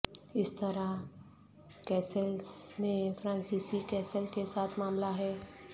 اس طرح کیسسیلس میں فرانسیسی کیسل کے ساتھ معاملہ ہے